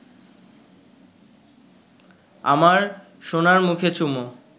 আমার সোনার মুখে চুমো